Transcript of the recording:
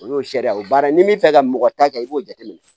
O y'o sariya o baara in bɛ fɛ ka mɔgɔ ta kɛ i b'o jateminɛ